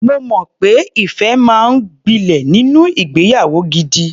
Mo mọ̀ pé ìfẹ́ máa ń gbilẹ̀ nínú ìgbeyàwó gidi.